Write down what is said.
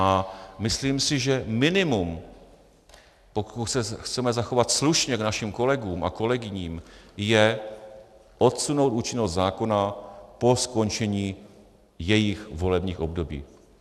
A myslím si, že minimum, pokud se chceme zachovat slušně k našim kolegům a kolegyním, je odsunout účinnost zákona po skončení jejich volebních období.